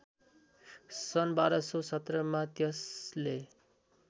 सन् १२१७ मा त्यसले